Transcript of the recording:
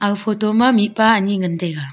photo ma mihpa ani ngan taiga.